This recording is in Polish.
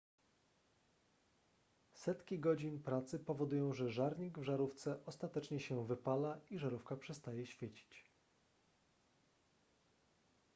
setki godzin pracy powodują że żarnik w żarówce ostatecznie się wypala i żarówka przestaje świecić